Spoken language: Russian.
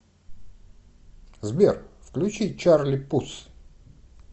сбер включи чарли пус